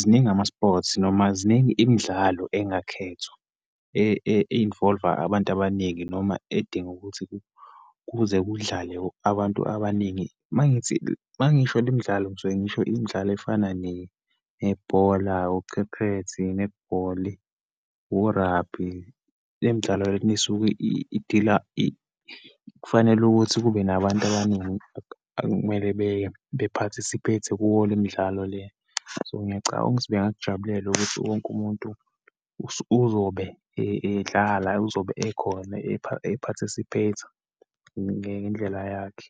ziningi ama-sports noma ziningi imidlalo engakhethwa, e-involve-a abantu abaningi, noma edinga ukuthi kuze kudlale abantu abaningi. Uma ngithi, uma ngisho le imidlalo ngisuke ngisho imidlalo efana nebhola, ucephethi, i-nethibholi, u-rugby. Le midlalo le esuke idila, kufanele ukuthi kube nabantu abaningi okumele be-participate-e kuyo le imidlalo le. So, ngiyacabanga ukuthi bengakujabulela ukuthi wonke umuntu uzobe edlala uzobe ekhona e-participate-a ngendlela yakhe.